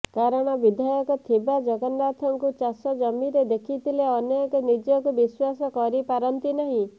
କାରଣ ବିଧାୟକ ଥିବା ଜଗନ୍ନାଥଙ୍କୁ ଚାଷ ଜମିରେ ଦେଖିଲେ ଅନେକ ନିଜକୁ ବିଶ୍ୱାସ କରିପାରନ୍ତି ନାହିଁ